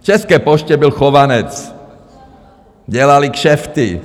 V České poště byl Chovanec, dělali kšefty.